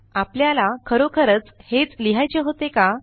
आपल्याला खरोखर हेच लिहायचे होते का